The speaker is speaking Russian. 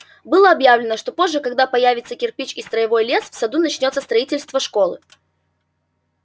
было объявлено что позже когда появятся кирпич и строевой лес в саду начнётся строительство школы